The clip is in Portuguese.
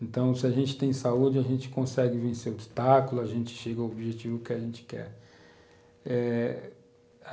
Então, se a gente tem saúde, a gente consegue vencer o obstáculo, a gente chega ao objetivo que a gente quer, eh